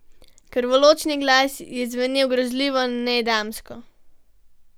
Krvoločni glas je zvenel grozljivo nedamsko.